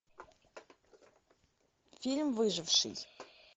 фильм выживший